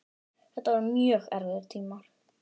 Þetta voru mjög erfiðir tímar.